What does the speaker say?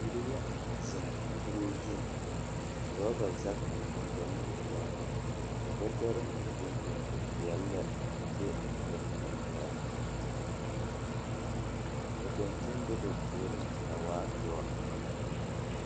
Bibiiri la zeŋ kuruu zuŋ. Ka orͻba zage biŋ ba nimitͻͻreŋ, ka bͻtͻre meŋ biŋ biŋ e peԑle lԑ a be ba nimitͻͻreŋ. Ka daŋkyin be ba puoriŋ a waa doͻ.